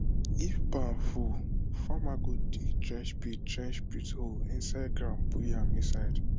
if barn full farmer go dig trench pit trench pit hole inside ground put yam inside